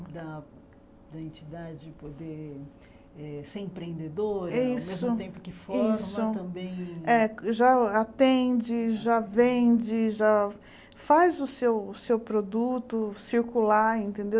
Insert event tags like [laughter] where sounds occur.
[unintelligible] poder eh ser empreendedora, Isso ao mesmo tempo que forma Isso também... É já atende, já vende, já faz o seu seu produto circular, entendeu?